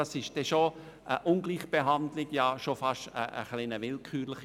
Das ist eine Ungleichbehandlung und wäre sehr willkürlich.